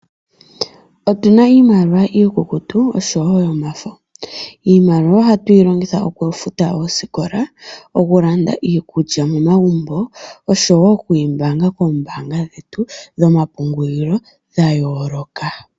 Otu na iimaliwa iikukutu osho woo yomafo, iimaliwa oha tu yilongitha oku futa oosikola, oku landa iikulya momagumbo osho woo oku yi mbaanga koombanga dhetu dhomapungulilo dha yooloka.